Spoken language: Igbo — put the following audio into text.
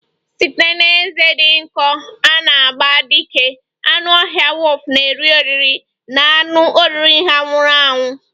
Site na ezé dị nkọ na agba dị ike, anụ ọhịa wulfu na-eri oriri na anụ oriri ha nwụrụ anwụ